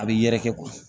A bɛ yɛrɛkɛ